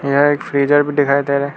यह एक फ्रीजर भी दिखाई दे रहा--